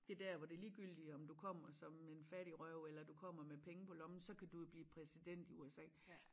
Det dér hvor det ligegyldigt om du kommer som en fattigrøv eller du kommer med penge på lommen så kan du jo blive præsident i USA